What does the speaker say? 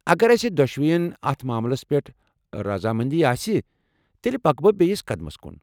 اگر أسہِ دۄشوین اتھ معاملس پٮ۪ٹھ رزامندی آسہِ، تیٚلہ پکہٕ بہٕ بییِس قدمس كُن ۔